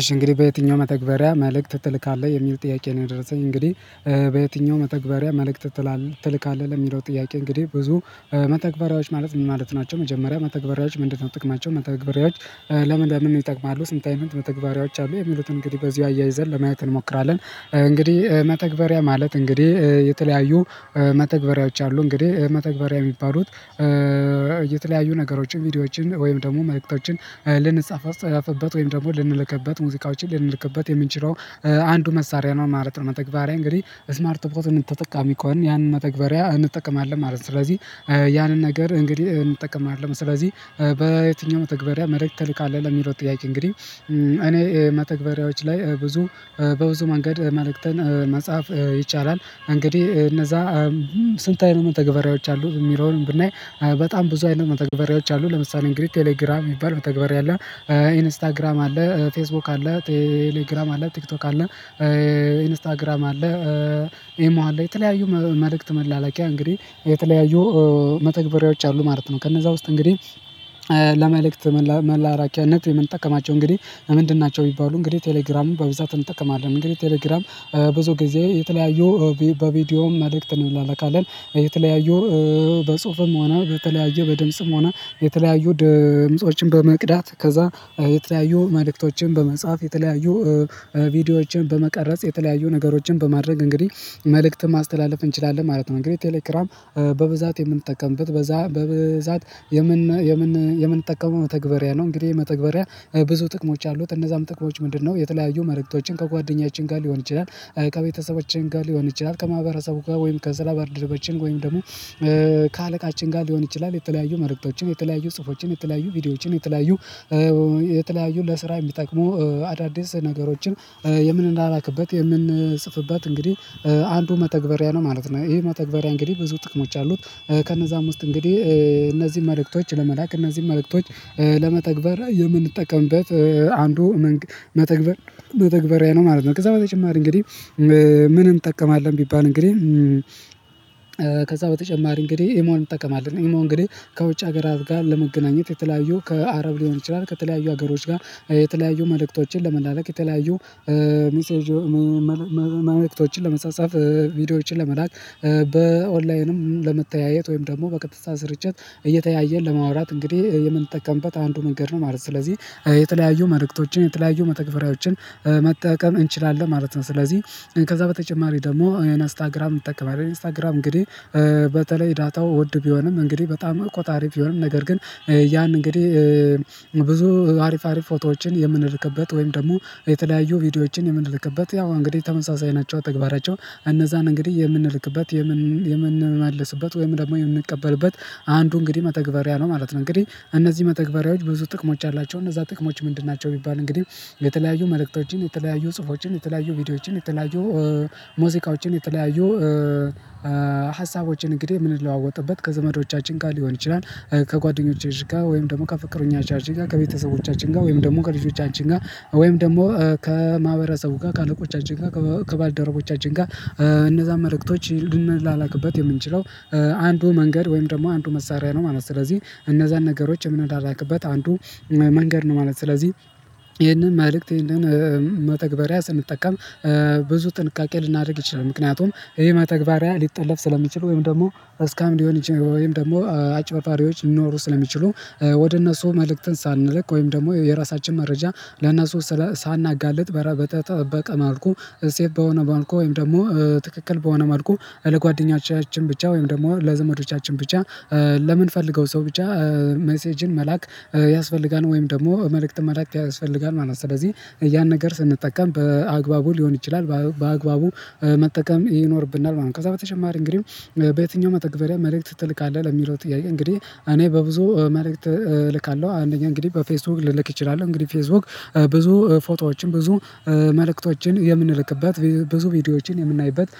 እሺ እንግዲህ በየትኛው መተግበሪያ መልእክት ትልካለህ የሚል ጥያቄ ነው? የደረሰኝ እንግዲህ በየትኛው መተግበሪያ መልእክት ትልካለህ? ለሚለው ጥያቄ እንግዲህ ብዙ መተግበሪያዎች ማለት ምን ማለት ናቸው። መጀመሪያ መተግበሪያዎች ምንድነው? ጥቅማቸው መተግበሪያዎች ለምን ለምን ይጠቅማሉ ስንታይም መተግበሪያዎች አሉ? የሚሉትን እንግዲህ በዚሁ አያይዘን ለማየት እንሞክራለን። እንግዲህ መተግበሪያ ማለት እንግዲህ የተለያዩ መተግበሪያዎች አሉ። እንግዲህ መተግበሪያ የሚባሉት የተለያዩ ነገሮችን ቪዲዮዎችን ወይም ደግሞ መልእክቶችን ልንጻፈፍበት ወይም ደግሞ ልንልክበት ሙዚቃዎችን ልንልክበት የምንችለው አንዱ መሳሪያ ነው ማለት ነው። መተግበሪያ እንግዲህ ስማርት ፎን ተጠቃሚ ከሆነ ያንን መተግበሪያ እንጠቀማለን ማለት ነው። ስለዚህ ያንን ነገር እንግዲህ እንጠቀም አይደለም ስለዚህ በየትኛው መተግበሪያ መልክት ትልካልህ? ለሚለው ጥያቄ እንግዲህ እኔ ማተግበሪያዎች ላይ ብዙ በብዙ መንገድ መልእክተን መጽሐፍ ይቻላል። እንግዲህ እነዛ ስንትአይነት መተገበሬዎች አሉ? የሚለውን ብናይ በጣም ብዙ አይነት መተግበሪያዎች አሉ። ለምሳሌ እንግዲህ ቴሌግራም የሚባል ተግባር ያለ ኢንስታግራም አለ ፌስቡክ አለ ቴሌግራም አለ ቲክቶክ አለ። ኢንስታግራም አለ። ኤሞ አለ የተለያዩ መልእክት መላላቂያ እንግዲህ የተለያዩ መተግበሪያዎች አሉ ማለት ነው። ከነዛ ውስጥ እንግዲህ ለመልእክት መላራኪያነት የምንጠቀማቸው እንግዲህ ምንድን ናቸው? ቢባሉ እንግዲህ ቴሌግራሙን በብዛት እንጠቀማለን። እንግዲህ ቴሌግራም ብዙ ጊዜ የተለያዩ በቪዲዮም መልእክት እንለላካለን የተለያዩ በጽሁፍም ሆነ በተለያየ በድምጽም ሆነ የተለያዩ ድምፆችን በመቅዳት ከዛ የተለያዩ መልእክቶችን በመጽሐፍ የተለያዩ ቪዲዮዎችን በመቀረጽ የተለያዩ ነገሮችን በማድረግ እንግዲህ መልእክት ማስተላለፍ እንችላለን ማለት ነው። እንግዲህ ቴሌግራም በብዛት የምንጠቀምበት በዛ በብዛት የምን የምንጠቀመው መተግበሪያ ነው። እንግዲህ መተግበሪያ ብዙ ጥቅሞች አሉት እነዛም ጥቅሞች ምንድነው? የተለያዩ መረጃዎችን ከጓደኛችን ጋር ሊሆን ይችላል። ከቤተሰቦችን ጋር ሊሆን ይችላል ከማህበረሰቡ ጋር ወይም ከስራ በርድረበችን ወይም ደግሞ ከአለቃችን ጋር ሊሆን ይችላል። የተለያዩ መልክቶችን የተለያዩ ጽሁፎችን የተለያዩ ቪዲዮዎችን የተለያዩ የተለያዩ ለስራ የሚጠቅሙ አዳዲስ ነገሮችን የምንለላክበት የምንጽፍበት እንግዲህ አንዱ መተግበሪያ ነው ማለት ነው። ይሄ መተግበሪያ እንግዲህ ብዙ ጥቅሞች አሉት። ከነዛም ውስጥ እንግዲህ እነዚህን መልእክቶች ለመላክ እነዚህን መልእክቶች ለመተግበር የምንጠቀምበት አንዱ መተግበር መተግበሪያ ነው ማለት ነው። ከዛ በተጨማሪ እንግዲህ ምን እንጠቀማለን ቢባል? እንግዲህ ከዛ በተጨማሪ እንግዲህ የመሆን እንጠቀማለን የመሆን እንግዲህ ከውጭ ሀገር ጋር ለመገናኘት የተለያዩ ከአረብ ሊሆን ይችላል ከተለያዩ ሀገሮች ጋር የተለያዩ መልእክቶችን ለመላለቅ የተለያዩ ሚሴጆ መመልከቶችን ለመጸጻፍ ቪዲዮዎችን ለመላክ በኦንላይንም ለመተያየት ወይም ደግሞ በቀጥታ ስርጭት እየተያየ ለማውራት እንግዲህ የምንጠቀምበት አንዱ ነገር ነው ማለት ነው። ስለዚህ የተለያዩ መልእክቶችን የተለያዩ መተግፈሪያዎችን መጠቀም እንችላለን ማለት ነው። ስለዚህ ከዛ በተጨማሪ ደግሞ አይነት አስታግራም እንጠቀማለን አስታግራም እንግዲህ በተለይ ዳታው ውድ ቢሆንም እንግዲህ በጣም ቆጣሪ ቢሆንም ነገር ግን ያን እንግዲህ ብዙ አሪፍ አሪፍ ፎቶዎችን የምንርክበት ወይም ደግሞ የተለያዩ ቪዲዮዎችን የምንልክበት ያው እንግዲህ ተመሳሳይ ናቸው። ተግባራቸው እነዛን እንግዲህ የምንልክበት የምንላለስበት ወይም ደግሞ የምንቀበልበት አንዱ እንግዲህ መተግበሪያ ነው ማለት ነው። እንግዲህ እነዚህ መተግበሪያዎች ብዙ ጥቅሞች አላቸው እነዛ ጥቅሞች ምንድን ናቸው? ቢባል እንግዲህ የተለያዩ መልእክቶችን የተለያዩ ጽሁፎችን የተለያዩ ቪዲዮዎችን የተለያዩ ሙዚቃዎችን የተለያዩ ሀሳቦችን እንግዲህ ምን ለዋወጥበት ከዘመዶቻችን ጋር ሊሆን ይችላል ከጓደኞቻችን ጋር ወይም ደግሞ ከፍቅረኞቻችን ጋር ከቤተሰቦቻችን ጋር ወይም ደግሞ ከልጆቻችን ጋር ወይም ደግሞ ከማህበረሰቡ ጋር ከአለቆቻችን ጋር ከባልደረቦቻችን ጋር እነዛን መልእክቶች ልንላክበት የምንችለው አንዱ መንገድ ወይም ደግሞ አንዱ መሳሪያ ነው ማለት ነው። ስለዚህ እነዛን ነገሮች አንዱ መንገድ ነው ማለት ነው። ስለዚህ ይሄንን መልእክት ይህንን መተግበሪያ ስንጠቀም ብዙ ጥንቃቄ ልናደርግ ይችላል። ምክንያቱም ይሄ መተግበሪያ ሊጠለፍ ስለሚችል ወይም ደግሞ እስካም ሊሆን ይችላል ወይም ደግሞ አጭር ፋሪዎች ሊኖሩ ስለሚችሉ ወደ እነሱ መልእክትን ሳንልክ ወይም ደግሞ የራሳችን መረጃ ለነሱ ሳናጋልጥ በተጠበቀ ማልኩ እዚህ በሆነ ማልኩ ወይም ደግሞ ትክክል በሆነ መልኩ ለጓደኛችን ብቻ ወይም ደግሞ ለዘመዶቻችን ብቻ። ለምን ፈልገው ሰው ብቻ ሜሴጅን መላክ ያስፈልጋል? ወይም ደግሞ መልእክት መልእክት ያስፈልጋል ማለት ነው። ስለዚህ ያን ነገር ስንጠቀም በአግባቡ ሊሆን ይችላል በአግባቡ መጠቀም ይኖርብናል ማለት ነው። ከዛ በተጨማሪ እንግዲህ በየትኛው መተግበሪያ መልእክት ትልካለህ? ለሚለው ጥያቄ እንግዲህ እኔ በብዙ መልእክት እልካለሁ አንደኛ እንግዲህ በፌስቡክ ልልክ እችላለሁ እንግዲህ ፌስቡክ ብዙ ፎቶዎችን ብዙ መልእክቶችን የምንልክበት ብዙ ቪዲዮዎችን የምናይበት